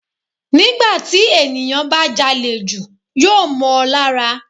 Nígbà tí ènìyàn bá jalè jù yóò mọ́ on lára.